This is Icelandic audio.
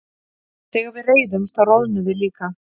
þegar við reiðumst þá roðnum við líka